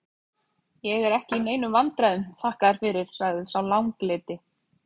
Ég er ekki í neinum vandræðum, þakka þér fyrir, sagði sá langleiti.